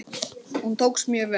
Hún tókst mjög vel.